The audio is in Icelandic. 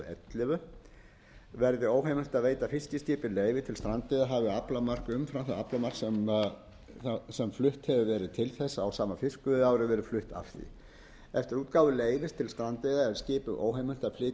tvö þúsund og ellefu verði óheimilt að veita fiskiskipum leyfi til strandveiða hafi aflamark umfram það aflamark sem flutt hefur verið til þess á sama fiskveiðiári verið flutt af því eftir útgáfu leyfis til strandveiða er skipi óheimilt að flytja frá sér